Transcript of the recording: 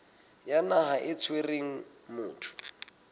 ya naha e tshwereng motho